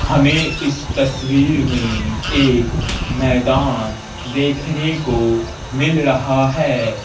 हमें इस तस्वीर में एक मैदान देखने को मिल रहा है।